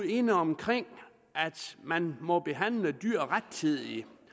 inde omkring at man må behandle dyr rettidigt